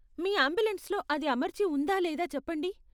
మీ అంబులెన్స్లో అది అమర్చి ఉందా లేదా చెప్పండి.